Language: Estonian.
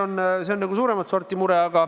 Noh, see on nagu suuremat sorti mure.